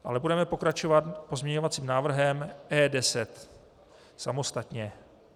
Ale budeme pokračovat pozměňovacím návrhem E10 samostatně.